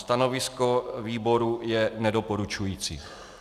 Stanovisko výboru je nedoporučující.